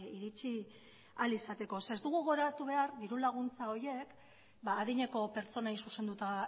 iritsi ahal izateko ez dugu gogoratu behar diru laguntza horiek adineko pertsonei zuzenduta